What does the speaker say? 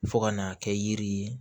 Fo ka n'a kɛ yiri ye